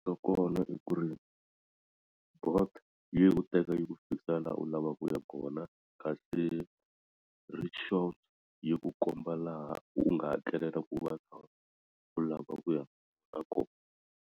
Kona i ku ri yi ku teka yi ku fikisa laha u lavaka ku ya kona kasi rickshaws yi ku komba laha u nga hakelela ku lava ku ya kona.